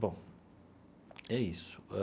Bom, é isso.